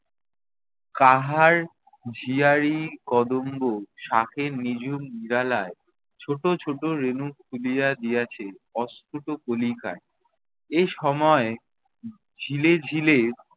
কাহার জিয়ারি কদম্ব শাঁখের নিঝুম নিরালায়, ছোট ছোট রেণু খুলিয়া দিয়াছে অস্ফূট কণিকায়। এসময় ঝিলে-ঝিলে